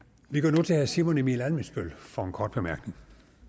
vi går nu til herre simon emil ammitzbøll for en kort bemærkning